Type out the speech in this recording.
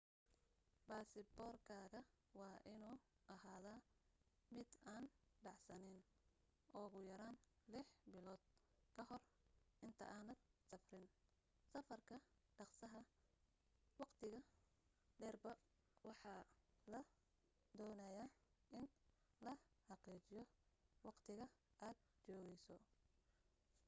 basaboor kaaga waa inu ahada mid aan dhacsanen ugu yaraan lix bilood ka hor inta aadan safrin. safarka dhaqsaha/waqtiga dheerba waxaa la doonaya in la xaqiijiyo waqtiga aad joogeyso